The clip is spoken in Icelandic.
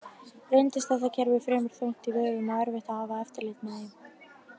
Reyndist þetta kerfi fremur þungt í vöfum og erfitt að hafa eftirlit með því.